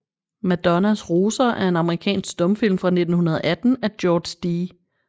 Madonnas roser er en amerikansk stumfilm fra 1918 af George D